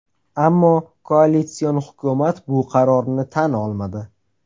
Ammo koalitsion hukumat bu qarorni tan olmadi.